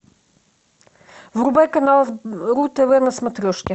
врубай канал ру тв на смотрешке